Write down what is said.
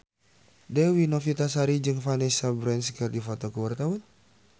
Dewi Novitasari jeung Vanessa Branch keur dipoto ku wartawan